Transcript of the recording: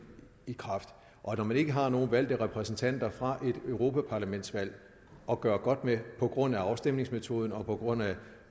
i kraft og når man ikke har nok valgte repræsentanter fra et europaparlamentsvalg at gøre godt med på grund af afstemningsmetoden og på grund af